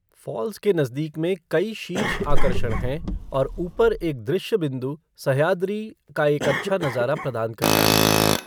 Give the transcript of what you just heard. Falls के नज़दीक में कई शीर्ष आकर्षण हैं और ऊपर एक दृश्य बिंदु सह्याद्री का एक अच्छा नज़ारा प्रदान करता है।